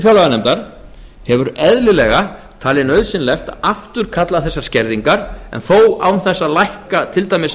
fjárlaganefndar hefur eðlilega talið nauðsynlegt að afturkalla þessar skerðingar en þó án þess að lækka til dæmis